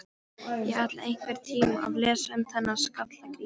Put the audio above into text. Ég ætla einhvern tíma að lesa um þennan Skalla-Grím.